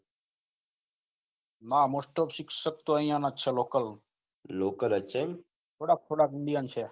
ના most of શિક્ષક અહીના જ છે લોકલ થોડાક થોડાક થોડાક indian છે